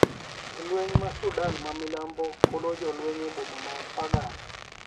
Jolweniy mag Sudan ma milambo golo jolweniy eboma mar Pagak